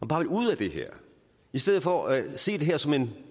bare vil ud af det her i stedet for at se det her som en